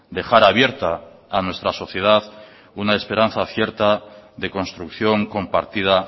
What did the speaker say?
dejar abierta a nuestra sociedad una esperanza cierta de construcción compartida